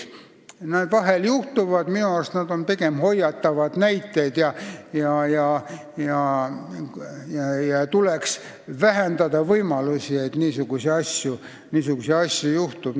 Minu arust on seda sorti ideed pigem hoiatavad näited ja tuleks vähendada võimalust, et niisuguseid asju juhtub.